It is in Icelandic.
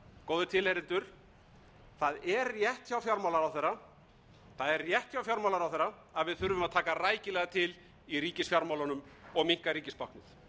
góðir tilheyrendur það er rétt hjá fjármálaráðherra að við þurfum að taka rækilega til í ríkisfjármálunum og minnka ríkisbáknið